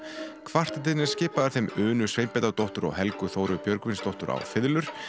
kvartettinn er skipaður þeim Unu Sveinbjarnardóttur og Helgu Þóru Björgvinsdóttur á fiðlur